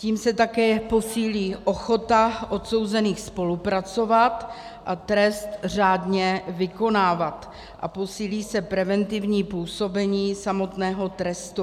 Tím se také posílí ochota odsouzených spolupracovat a trest řádně vykonávat a posílí se preventivní působení samotného trestu.